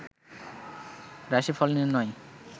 রাশিফল নির্ণয়